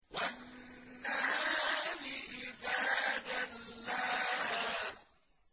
وَالنَّهَارِ إِذَا جَلَّاهَا